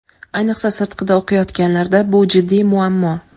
Ayniqsa sirtqida o‘qiyotganlarda bu jiddiy muammo.